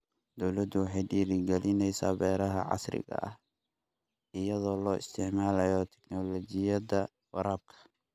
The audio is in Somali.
Dawladdu waxay dhiirigelinaysaa beeraha casriga ah iyadoo la isticmaalayo tignoolajiyada waraabka.